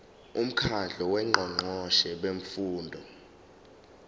umkhandlu wongqongqoshe bemfundo